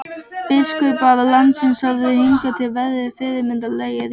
Biskupar landsins höfðu hingað til verið fyrirmannlegir.